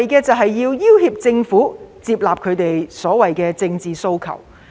目的是要脅迫政府接納其政治訴求。